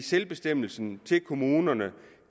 selvbestemmelse til kommunerne